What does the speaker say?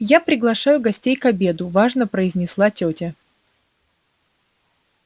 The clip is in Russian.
я приглашаю гостей к обеду важно произнесла тётя